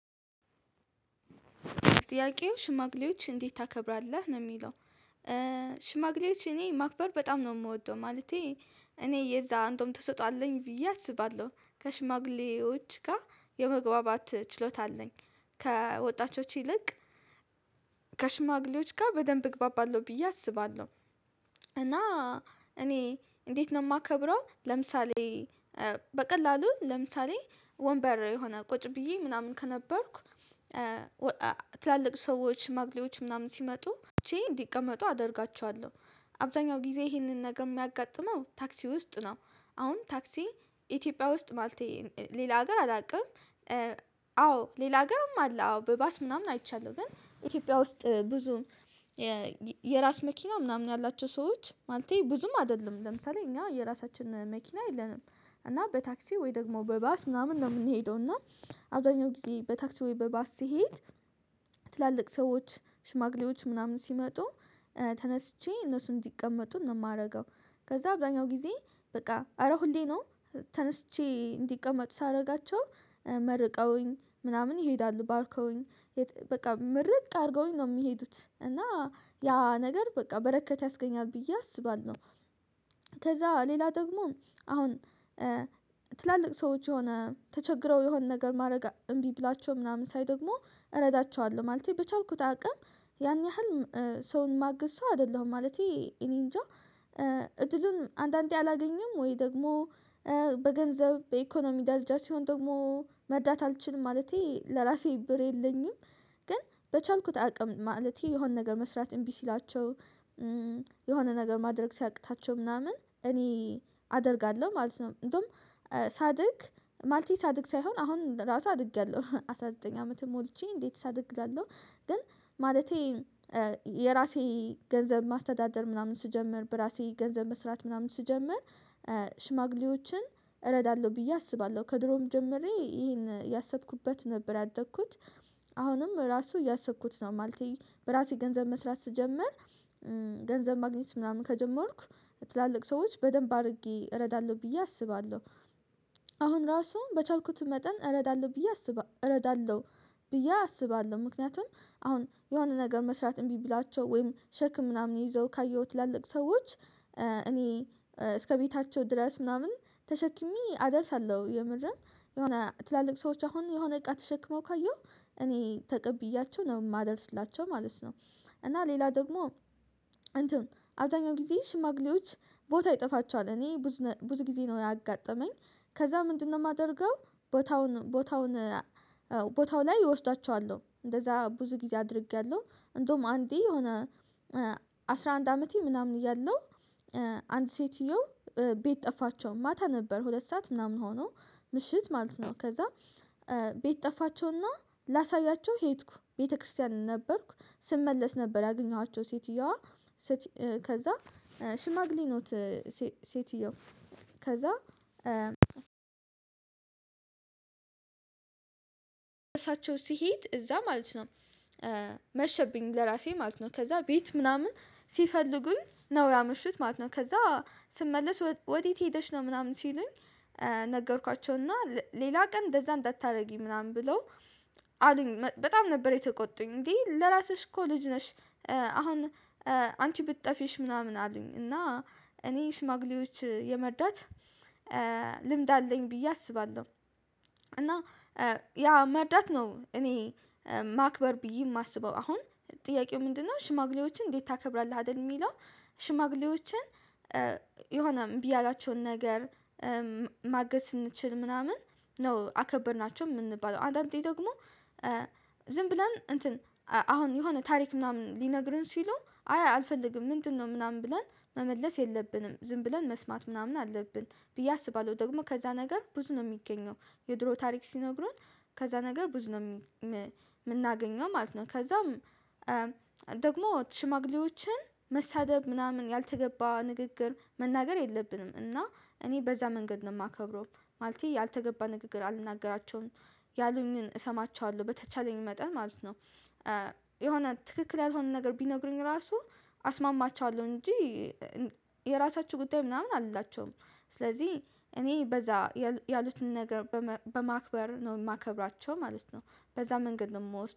ጥያቄው ሽማግሌዎች እንዴት ታከብራለህ ነው የሚለው? ሽማግሌዎች እኔ ማክበር በጣም ነው የምወደው። ማለቴ እኔ የዛን እንደውም ትሰጦ አለኝ ብዬ አስባለሁ ከሽማግሌዎች ጋር የመግባባት ችሎታ አለኝ። ከወጣቾች ይልቅ ከሽማግሌዎች ጋር በደንብ እግባባለሁ ብዬ አስባለሁ። እና እኔ እንዴት ነው የማከብረው? ለምሳሌ በቀላሉ ለምሳሌ ወንበር የሆነ ቁጭ ብዬ ምናምን ከነበርኩ ትላልቅ ሰዎች ሽማግሌዎች ምናምን ሲመጡ እንዲቀመጡ አደርጋቸዋለሁ። አብዛኛው ጊዜ ይሄንን ነገር የሚያጋጥመው ታክሲ ውስጥ ነው። አሁን ታክሲ ኢትዮጵያ ውስጥ ማለቴ ሌላ ሀገር አላውቅም። አዎ ሌላ ሀገርም አለ አዎ በባስ ምናምን አይቻለሁ። ግን ኢትዮጵያ ውስጥ ብዙም የራስ መኪና ምናምን ያላቸው ሰዎች ማለቴ ብዙም አይደለም ለምሳሌ እኛ የራሳችን መኪና የለንም። እና በታክሲ ወይ ደግሞ በባስ ምናምን ነው የምንሄደው እና አብዛኛው ጊዜ በታክሲ ወይ በባስ ስሄድ። ትላልቅ ሰዎች ሽማግሌዎች ምናምን ሲመጡ ተነስቼ እነሱን እንዲቀመጡ ነው የማደርገው። ከዛ አብዛኛው ጊዜ በቃ አረ ሁሌ ነው። ተነስቼ እንዲቀመጡ ሳደርጋቸው መርቀውኝ ምናምን ይሄዳሉ ባርከውኝ። በቃ ምርቅ አድርገውኝ ነው የሚሄዱት እና ያ ነገር በቃ በረከት ያስገኛል ብዬ አስባለሁ። ከዛ ሌላ ደግሞ አሁን ትላልቅ ሰዎች የሆነ ተቸግረው የሆነ ነገር ማድረግ እምቢ ብሏቸው ምናምን ሳይ ደግሞ እረዳቸዋለሁ። ማለቴ በቻልኩት አቅም ያን ያህል ሰውን ማግዝ ሰው አይደለሁም ማለቴ እኔ እንጃ እድሉን አንዳንዴ አላገኘም ወይ ደግሞ በገንዘብ በኢኮኖሚ ዳርቻ ሲሆን ደግሞ መርዳት አልችልም ማለቴ ለራሴ ብር የለኝም። ግን በቻልኩት አቅም ማለቴ የሆነ ነገር መስራት እምቢ ሲላቸው የሆነ ነገር ማድረግ ሲያቅታቸው ምናምን እኔ አደርጋለሁ። ማለት ነው እንደውም ሳድግ ማለቴ ሳድግ ሳይሆን አሁን ራሱ አድጌለሁ አስራ ዘጠኝ አመት ሞልቼ እንዴት ሳድግ እላለሁ። ግን ማለቴ የራሴ ገንዘብ ማስተዳደር ምናምን ስጀምር በራሴ ገንዘብ መስራት ምናምን ስጀምር ሽማግሌዎችን እረዳለሁ ብዬ አስባለሁ። ከድሮም ጀምሬ ይሄን ያሰብኩበት ነበር ያደኩ ት አሁንም ራሱ እያሰብኩት ነው። ማለቴ በራሴ ገንዘብ መስራት ስጀምር ገንዘብ ማግኘት ምናምን ከጀመርኩ ትላልቅ ሰዎች በደንብ አድርጌ እረዳለሁ ብዬ አስባለሁ። አሁን ራሱ በቻልኩት መጠን እረዳለሁ ብዬ አስባ እረዳለሁ ብዬ አስባለሁ። ምክንያቱም አሁን የሆነ ነገር መስራት እምቢ ብላችሁ ወይም ሸክም ምናምን ይዘው ካየው ትላልቅ ሰዎች እኔ እስከ ቤታቸው ድረስ ምናምን ተሸክሜ አደርሳለሁ። የምርም የሆነ ትላልቅ ሰዎች አሁን የሆነ እቃ ተሸክመው ካየሁ እኔ ተቀብያቸው ነው የማደርስላቸው ማለት ነው። እና ሌላ ደግሞ አብዛኛው ጊዜ ሽማግሌዎች ቦታ ይጠፋቸዋል። እኔ ብዙ ብዙ ጊዜ ነው ያጋጠመኝ። ከዛ ምንድነው የማደርገው? ቦታውን ቦታውን ቦታው ላይ እወስዳቸዋለሁ እንደዛ ብዙ ጊዜ አድርጌያለሁ። እንደውም አንዴ የሆነ አስራ አንድ አመቴ ምናምን እያለሁ አንድ ሴትየው ቤት ጠፋቸው ማታ ነበር ሁለት ሰዓት ምናምን ሆኖ። ምሽት ማለት ነው ከዛ ቤት ጠፋቸው እና ላሳያቸው ሄድኩ ቤተክርስቲያን ነበርኩ። ስመለስ ነበር ያገኘኋቸው ሴትየዋ ከዛ ሽማግሌ ነው ሴትየው ከዛ እርሳቸው ሲሄድ እዛ ማለት ነው። መሸብኝ ለራሴ ማለት ነው ከዛ ቤት ምናምን ሲፈልጉኝ ነው ያመሽት ማለት ነው። ከዛ ስመለስ ወዴት ሄደሽ ነው ምናምን ሲሉኝ። ነገርኳቸው እና ሌላ ቀን እንደዛ እንዳታደርጊ ምናምን ብለው አሉኝ በጣም ነበር የተቆጡኝ እንዴ ለራስሽ እኮ ልጅ ነሽ። አሁን አንቺ ብትጠፊ እሺ ምናምን አሉኝ እና እኔ ሽማግሌዎች የመርዳት አለኝ ብዬ አስባለሁ። እና ያ መርዳት ነው እኔ ማክበር ብዬ የማስበው። አሁን ጥያቄው ምንድነው ሽማግሌዎችን እንዴት ታከብራለህ አይደል የሚለው? ሽማግሌዎችን የሆነ እቢ ያላቸውን ነገር ማገዝ ስንችል ምናምን ነው አከበርናቸው የምንባለው። አንዳንዴ ደግሞ ዝም ብለን እንትን አሁን የሆነ ታሪክ ምናምን ሊነግሩን ሲሉ አይ አልፈልግም ምንድነው ምናምን ብለን መመለስ የለብንም። ዝም ብለን መስማት ምናምን አለብን ብዬ አስባለሁ። ደግሞ ከዛ ነገር ብዙ ነው የሚገኘው። የድሮ ታሪክ ሲነግሩን ከዛ ነገር ብዙ ነው የምናገኘው ማለት ነው። ከዛም ደግሞ ሽማግሌዎችን መሳደብ ምናምን ያልተገባ ንግግር መናገር የለብንም። እና እኔ በዛ መንገድ ነው የማከብረው ማለቴ ያልተገባ ንግግር አልናገራቸውም። ያሉኝን እሰማቸዋለሁ በተቻለኝ መጠን ማለት ነው። የሆነ ትክክል ያልሆነ ነገር ቢነግሩኝ ራሱ አስማማቸዋለሁ እንጂ የራሳችሁ ጉዳይ ምናምን አልላቸውም። ስለዚህ እኔ በዛ ያሉትን ነገር በማክበር ነው የማከብራቸው ማለት ነው። በዛ መንገድ ምወስደው